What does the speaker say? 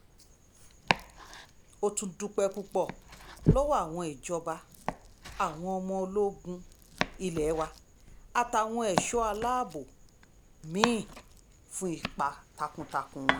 ó tún dúpẹ́ púpọ̀ lọ́wọ́ àwọn ìjọba àwọn ọmọ ogun ilé wa àtàwọn ẹ̀ṣọ́ aláàbò mí-ín fún ipa takuntakun wọn